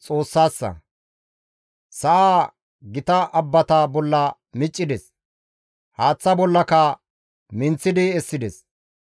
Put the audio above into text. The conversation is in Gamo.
Sa7aa gita abbata bolla miccides; haaththa bollaka minththidi essides.